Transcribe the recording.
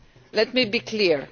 Let me be clear.